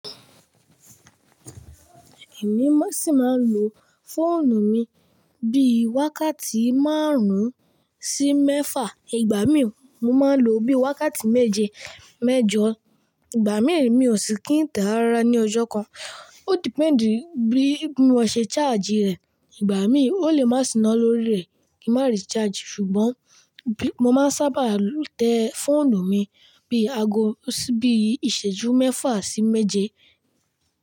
Èmi sì máa ń lo fóònù mi bíi wákàtí márùn sí mẹ́fà. Ìgbà mí, mo máa ń ló bíi wákàtí méje, mẹ́jọ. Ìgbà mí, mi ò sì kí n tàn rárá ní ọjọ́ kan. Ó depend bíi mọ ṣe charge rẹ̀. Ìgbà mí, ó lè má sì ná lórí rẹ̀ kí n má ri charge. Ṣùgbọ́n, mo máa ń sábà tẹ fóònù mi bíi aago bi ìṣẹ́jú mẹ́fà sí méje.